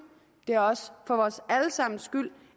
det er også for vores alle sammens skyld